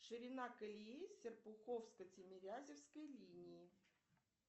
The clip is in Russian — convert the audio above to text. ширина колеи серпуховско тимирязевской линии